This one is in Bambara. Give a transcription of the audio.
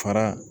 Fara